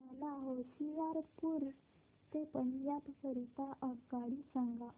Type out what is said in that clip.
मला होशियारपुर ते पंजाब करीता आगगाडी सांगा